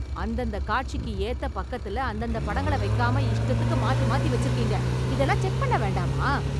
அந்தந்த காட்சிக்கு ஏத்த பக்கத்துல, அந்தந்த படங்களை வைக்காமல் இஷ்டத்துக்கு மாத்தி மாத்தி வெச்சுருக்கீங்க... இதெல்லாம் செக் பண்ண வேண்டாமா?